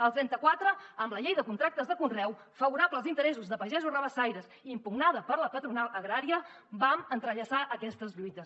el trenta quatre amb la llei de contractes de conreu favorable als interessos de pagesos rabassaires i impugnada per la patronal agrària vam entrellaçar aquestes lluites